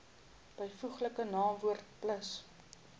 byvoeglike naamwoord plus